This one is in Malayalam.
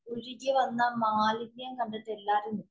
ഒഴുകി വന്ന മാലിന്യം കണ്ടിട്ട് എല്ലാരും